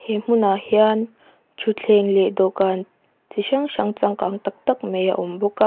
he hmunah hian ṭhutthleng leh dawhkan chi hrang hrang changkang tak tak mai a awm bawk a.